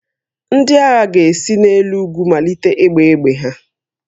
Ndị agha ga-esi n'elu ugwu malite ịgba egbe ha